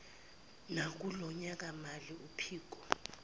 nakulo nyakamali uphiko